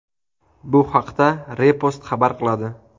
Bu haqda Repost xabar qiladi .